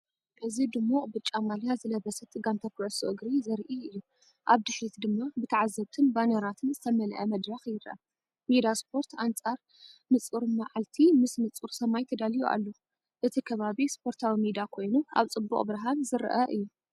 እዚ ድሙቕ ብጫ ማልያ ዝለበሰት ጋንታ ኩዕሶ እግሪ ዘርኢ እዩ፤ ኣብ ድሕሪት ድማ ብተዓዘብትን ባነራትን ዝተመልአ መድረኽ ይረአ። ሜዳ ስፖርት ኣንጻር ንጹር መዓልቲ ምስ ንጹር ሰማይ ተዳልዩ ኣሎ። እቲ ከባቢ ስፖርታዊ ሜዳ ኮይኑ፡ኣብ ጽቡቕ ብርሃን ዝረአ እዩ።